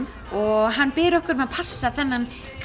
og hann biður okkur að passa þennan